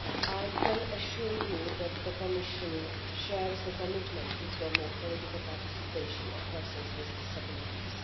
I can assure you that the Commission shares the commitment to promoting the political participation of people with disabilities.